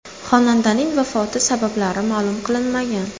Xonandaning vafoti sabablari ma’lum qilinmagan.